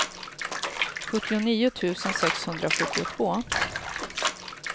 sjuttionio tusen sexhundrasjuttiotvå